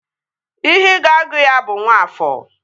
Ihe ị ga-agụ ya bụ Nwafọọ!